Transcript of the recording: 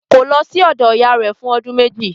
Kò lọ sí ọ̀dọ̀ ìyá rẹ̀ fún ọdún méjì